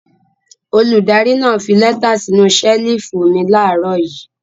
Olùdarí náà fi lẹ́tà sínú ṣẹ́lífù mi láàárọ̀ yìí.